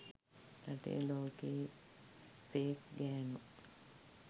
රටේ ලෝකේ ෆේක් ගෑනු